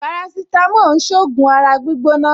Parasitamọ́ọ̀n ṣògùn ara gbígbóná